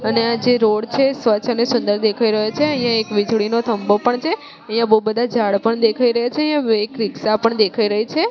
અને આ જે રોડ છે સ્વચ્છ અને સુંદર દેખાઈ રહ્યો છે અહીંયા એક વીજળીનો થમ્બો પણ છે અહીંયા બહુ બધા ઝાડ પણ દેખાઈ રહ્યા છે એક રીક્ષા પણ દેખાઈ રહી છે.